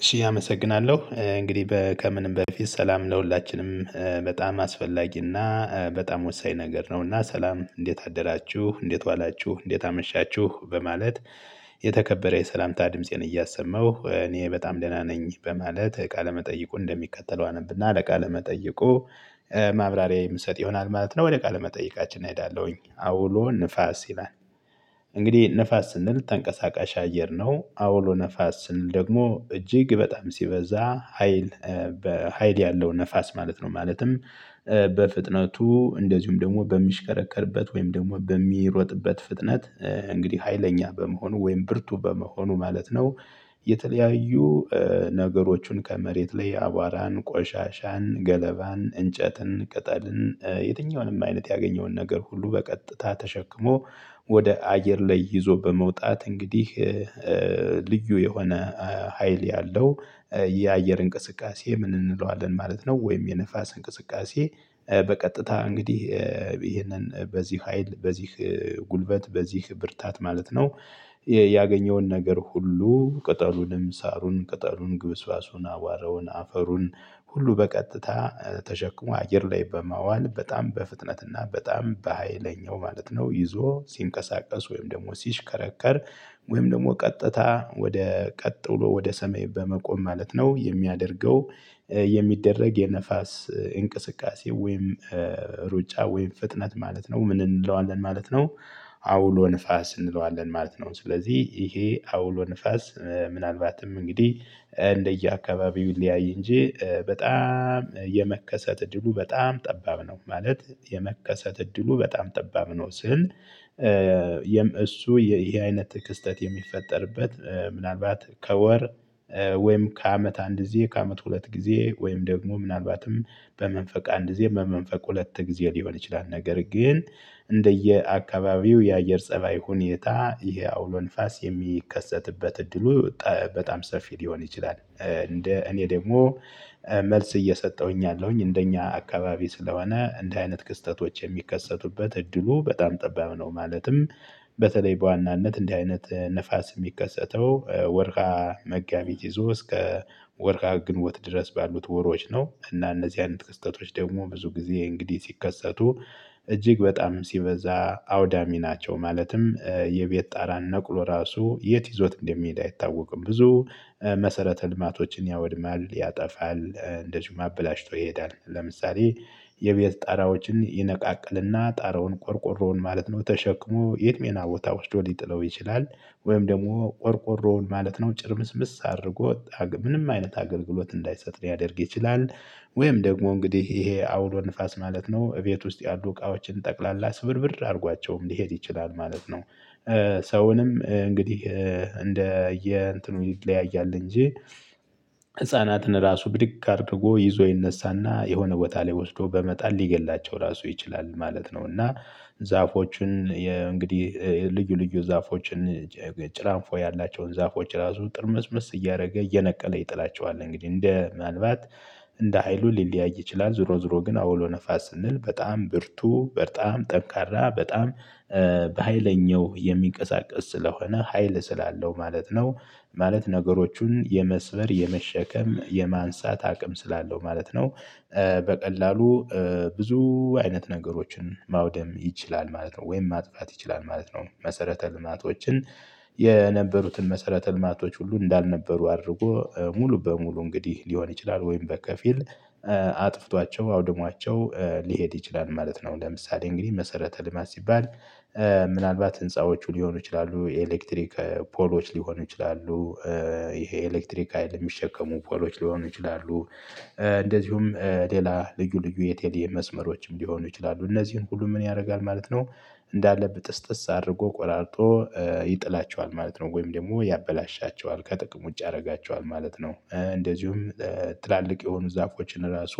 እሺ አመሰግናለሁ እንግዲህ ከምንም በፊት ሰላም ለሁላችንም በጣም አስፈላጊና በጣም ወሳኝ ነገር ነውና ሰላም እንዴት አደራችሁ እንዴት ዋላችሁ እንዴት አመሻችሁ በማለት የተከበረ የሰላምታ ድምፄን እያሰማሁ እኔ በጣም ደህና ነኝ በማለት ቃለ መጠይቁን እንደሚከተለው አነብና ለቃ መጠይቁ ማብራሪያ የምሰጥ ይሆናል ማለት ነው። ወደ ቃለ መጠይቃችን እሄዳለሁኝ አውሎ ንፋስ ይላል። እንግዲህ ንፋስ ስንል ተንቀሳቃሽ አየር ነው። አውሎ ንፋስ ስንል ደግሞ እጅግ በጣም ሲበዛ ሀይል። ሀይል ያለውን ነፋስ ማለት ነው። ማለትም በፍጥነቱ እንደዚሁም ደግሞ በሚሽከረከርበት ወይም ደግሞ በሚሮጥበት ፍጥነት። እንግዲህ ሀይለኛ በመሆኑ ወይም ብርቱ በመሆኑ ማለት ነው። የተለያዩ ነገሮቹን ከመሬት ላይ አቧራን ቆሻሻን ገለባን እንጨትን ቅጠልን የትኛውንም አይነት ያገኘውን ነገር ሁሉ በቀጥታ ተሸክሞ ወደ አየር ላይ ይዞ በመውጣት እንግዲህ ልዩ የሆነ ሀይል ያለው የአየር እንቅስቃሴ ምን እንለዋለን ማለት ነው? ወይም የንፋስ እንቅስቃሴ በቀጥታ እንግዲህ ይሄንን በዚህ ሀይል በዚህ ጉልበት በዚህ ብርታት ማለት ነው። ያገኘውን ነገር ሁሉ ቅጠሉንም ሳሩን ቅጠሉን ግብስባሱን አቧረውን አፈሩን ሁሉ በቀጥታ ተሸክሞ አየር ላይ በማዋል በጣም በፍጥነትና በጣም በሃይለኛው ማለት ነው ይዞ ሲንቀሳቀስ ወይም ደግሞ ሲሽከረከር። ወይም ደግሞ ቀጥታ ወደ ቀጥሎ ወደ ሰሜን በመቆም ማለት ነው የሚያደርገው የሚደረግ የንፋስ እንቅስቃሴ ወይም ሩጫ ወይም ፍጥነት ማለት ነው ምን እንለዋለን ማለት ነው። አውሎ ንፋስ እንለዋለን ማለት ነው ስለዚህ ይሄ አውሎ ንፋስ ምናልባትም እንግዲህ እንደየአካባቢው ሊየያይ እንጂ በጣም የመከሰት እድሉ በጣም ጠባብ ነው። ማለት የመከሰት እድሉ በጣም ጠባብ ነው። ስል እሱ ይሄ አይነት ክስተት የሚፈጠርበት ምናልባት ከወር ወይም ከአመት አንድ ጊዜ ከአመት ሁለት ጊዜ ወይም ደግሞ ምናልባትም በመንፈቅ አንድ ጊዜ በመንፈቅ ሁለት ጊዜ ሊሆን ይችላል። ነገር ግን እንደየአካባቢው የአየር ፀባይ ሁኔታ ይሄ አውሎ ንፋስ የሚከሰትበት እድሉ በጣም ሰፊ ሊሆን ይችላል። እንደ እኔ ደግሞ መልስ እየሰጠሁኝ ያለሁኝ እንደኛ አካባቢ ስለሆነ እንደ አይነት ክስተቶች የሚከሰቱበት እድሉ በጣም ጠባብ ነው። ማለትም በተለይ በዋናነት እንዲህ አይነት ንፋስ የሚከሰተው ወርሃ መጋቢት ይዞ እስከ ወርሃ ግንቦት ድረስ ባሉት ወሮዎች ነው። እና እነዚህ አይነት ክስተቶች ደግሞ ብዙ ጊዜ እንግዲህ ሲከሰቱ እጅግ በጣም ሲበዛ አውዳሚ ናቸው። ማለትም የቤት ጣራን ነቅሎ ራሱ የት ይዞት እንደሚሄድ አይታወቅም። ብዙ መሰረተ ልማቶችን ያወድማል ያጠፋል እንደዚሁ አበላሽቶ ይሄዳል። ለምሳሌ የቤት ጣራዎችን ይነቃቅልና ጣራውን ቆርቆሮውን ማለት ነው ተሸክሞ የት ሌላ ቦታ ውስጥ ሊጥለው ይችላል። ወይም ደግሞ ቆርቆሮውን ማለት ነው ጭርምስምስ አድርጎ ምንም አይነት አገልግሎት እንዳይሰጥ ያደርግ ይችላል። ወይም ደግሞ እንግዲህ ይሄ አውሎ ንፋስ ማለት ነው እቤት ውስጥ ያሉ እቃዎችን ጠቅላላ ስብርብር አድርጓቸውም ሊሄድ ይችላል ማለት ነው። ሰውንም እንግዲህ እንደ የእንትኑ ይለያያል እንጂ ህፃናትን ራሱ ብድግ አድርጎ ይዞ ይነሳና የሆነ ቦታ ላይ ወስዶ በመጣል ሊገድላቸው ራሱ ይችላል ማለት ነው። እና ዛፎችን የእንግዲህ ልዩ ልዩ ዛፎችን ጭራንፎ ያላቸውን ዛፎች ራሱ ጥርምዝምዝ እያደረገ እየነቀለ ይጥላቸዋል እንግዲህ እንደ ምን አልባት እንደ ሀይሉ ሊለያይ ይችላል። ዞሮ ዞሮ ግን አውሎ ንፋስ ስንል በጣም ብርቱ በጣም ጠንካራ በጣም በሃይለኛው የሚንቀሳቀስ ስለሆነ ሀይል ስላለው ማለት ነው። ማለት ነገሮቹን የመስበር የመሸከም የማንሳት አቅም ስላለው ማለት ነው። በቀላሉ ብዙ አይነት ነገሮችን ማውደም ይችላል ማለት ነው ወይም ማጥፋት ይችላል ማለት ነው። መሰረተ ልማቶችን የነበሩትን መሰረተ ልማቶች ሁሉ እንዳልነበሩ አድርጎ ሙሉ በሙሉ እንግዲህ ሊሆን ይችላል ወይም በከፊል አጥፍቷቸው አውድሟቸው ሊሄድ ይችላል። ማለት ነው ለምሳሌ እንግዲህ መሰረተ ልማት ሲባል ምናልባት ህንፃዎቹ ሊሆኑ ይችላሉ የኤሌክትሪክ ፖሎች ሊሆኑ ይችላሉ። ይሄ ኤሌክትሪክ ሀይል የሚሸከሙ ፖሎች ሊሆኑ ይችላሉ። እንደዚሁም ሌላ ልዩ ልዩ የቴሎ መስመሮችም ሊሆኑ ይችላሉ እነዚህን ሁሉ ምን ያደርጋል ማለት ነው? እንዳለ ብጥስጥስ አድርጎ ቆራርጦ ይጥላቸዋል ማለት ነው። ወይም ደግሞ ያበላሻቸዋል ከጥቅም ውጭ ያደርጋቸዋል ማለት ነው። እንደዚሁም ትላልቅ የሆኑ ዛፎችን ራሱ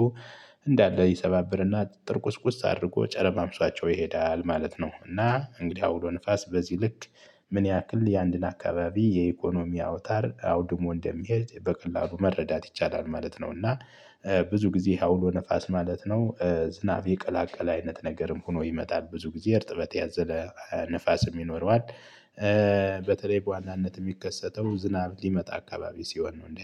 እንዳለ ይሰባብርና ጥርቁስቁስ አድርጎ ጨረማምሷቸው ይሄዳል ማለት ነው። እና እንግዲህ አውሎ ንፋስ በዚህ ልክ ምን ያክል የአንድን አካባቢ የኢኮኖሚ አውታር አውድሞ እንደሚሄድ በቀላሉ መረዳት ይቻላል ማለት ነው። እና ብዙ ጊዜ አውሎ ንፋስ ማለት ነው ዝናብ የቀላቀለ አይነት ነገርም ሆኖ ይመጣል ብዙ ጊዜ እርጥበት ያዘለ ንፋስ የሚኖረዋል። በተለይ በዋናነት የሚከሰተው ዝናብ ሊመጣ አካባቢ ሲሆን ነው